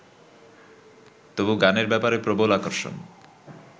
তবু গানের ব্যাপারে প্রবল আকর্ষণ